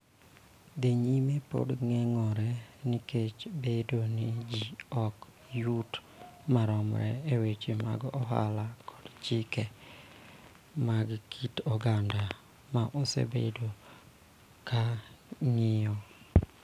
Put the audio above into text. Dhi nyime pod geng�ore nikech bedo ni ji ok yuti maromre e weche mag ohala kod chike mag kit oganda ma osebedo ka ng�iyo.